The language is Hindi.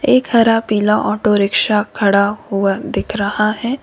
एक हरा पीला ऑटो रिक्शा खड़ा हुआ दिख रहा है।